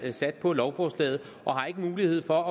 er sat på lovforslaget og har ikke mulighed for